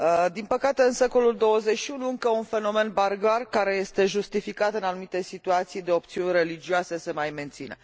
Din păcate, în secolul XXI, încă un fenomen barbar, care este justificat în anumite situații de opțiuni religioase, se mai menține.